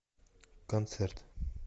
концерт